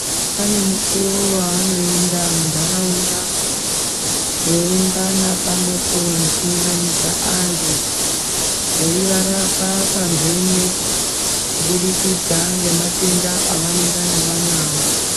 Pane mukuwo waanoenda mundaraunda veiungana pamwepo nekuunganidza antu veivarapa pamhene kubudikidza ngematenda avanengana vanawo.